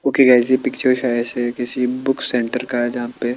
okay guys ये picture शायद से किसी बुक सेंटर का है जहां पे--